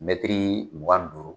mugan ni duuru